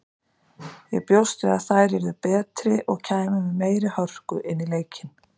Ég bjóst við að þær yrðu betri og kæmu með meiri hörku inn í leikinn.